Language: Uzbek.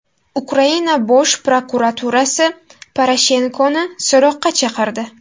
Ukraina Bosh prokuraturasi Poroshenkoni so‘roqqa chaqirdi.